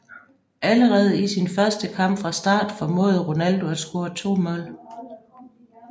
Allerede i sin første kamp fra start formåede Ronaldo at score to mål